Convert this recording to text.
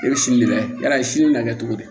E bɛ siyɛ yala i si bɛ na kɛ cogo di